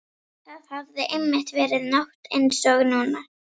Það hafði einmitt verið nótt einsog núna.